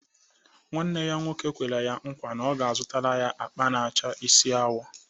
Nwanne ya nwoke kwere ya nkwa na ọ ga-azụtara ya akpa na-acha isi awọ.